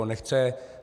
On nechce.